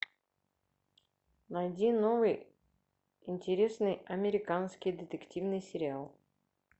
найди новый интересный американский детективный сериал